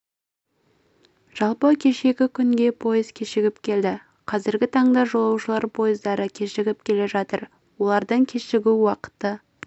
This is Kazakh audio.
жалпы кешегі күнге пойыз кешігіп келді қазіргі таңда жолаушылар пойыздары кешігіп келе жатыр олардың кешігу уақыты